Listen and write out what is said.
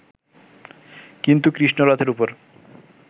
কিন্তু কৃষ্ণ রথের উপর